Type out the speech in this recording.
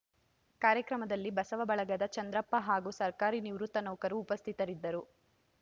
ಕಾರ್ಯಕ್ರಮದಲ್ಲಿ ಬಸವ ಬಳಗದ ಚಂದ್ರಪ್ಪ ಹಾಗೂ ಸರ್ಕಾರಿ ನಿವೃತ್ತ ನೌಕರು ಉಪಸ್ಥಿತರಿದ್ದರು